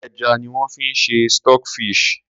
Ẹja ni wón fi ń ṣe stock fish.